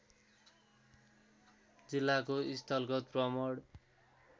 जिल्लाको स्थलगत भ्रमण